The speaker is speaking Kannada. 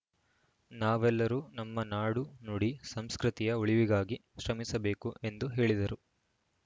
ನಾವೆಲ್ಲರೂ ನಮ್ಮ ನಾಡು ನುಡಿ ಸಂಸ್ಕೃತಿಯ ಉಳಿವಿಗಾಗಿ ಶ್ರಮಿಸಬೇಕು ಎಂದು ಹೇಳಿದರು